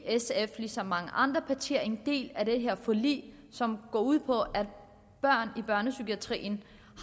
sf er ligesom mange andre partier en del af det her forlig som går ud på at børn i børnepsykiatrien